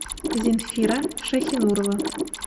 зинфира шайхинурова